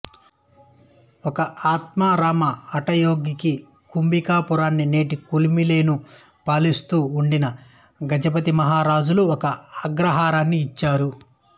ఒక ఆత్మారామ హఠయోగికికుంభికా పురాన్ని నేటి కుమిలెను పాలిస్తూ వుండిన గజపతిమహారాజులు ఒక అగ్రహారాన్ని ఇచ్చారు